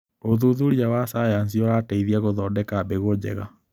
ũthuthuria wa sayansi ũrateithia gũthondeka mbegũ njega.